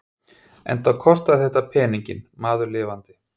Enda kostaði þetta peninginn, maður lifandi!